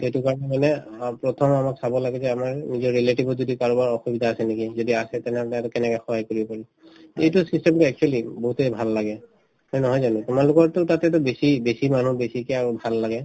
সেইটো কাৰণে মানে অ প্ৰথম আমাক চাব লাগে যে আমাৰ নিজৰ relative ত যদি কাৰোবাৰ অসুবিধা আছে নেকি যদি আছে তেনেহলে সিহঁতক কেনেকে সহায় কৰিব পাৰিম এইটোয়ে system তো actually বহুতে ভাল লাগে এই নহয় জানো তোমালোকৰতো তাতেতো বেছি বেছি মানুহ বেছিকে আৰু ভাল লাগে